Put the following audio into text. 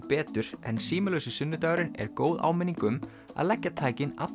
betur en símalausi sunnudagurinn er góð áminning um að leggja tækin